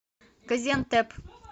газиантеп